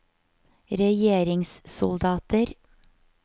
regjeringssoldater